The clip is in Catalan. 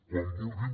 quan vulguin